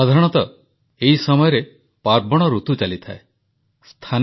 ଖେଳନା ଉଦ୍ୟୋଗର ବିକାଶ ପାଇଁ ଷ୍ଟାର୍ଟଅପ୍ ମାନଙ୍କୁ ପ୍ରଧାନମନ୍ତ୍ରୀଙ୍କ ଟିମ୍ ଅପ୍ ଫର୍ ଟଏଜ୍ ଆହ୍ୱାନ